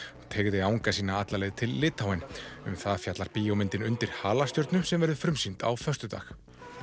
og teygði anga sína alla leið til Litáen um það fjallar bíómyndin undir halastjörnu sem verður frumsýnd á föstudag